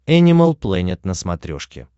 энимал плэнет на смотрешке